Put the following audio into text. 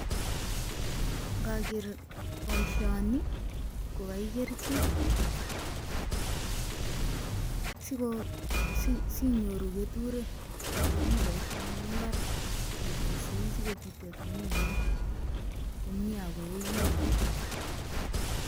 ngager boisioni ko kakigerchi si nyoru keturek che bi boisien eng imbar si kobityo tuguk guk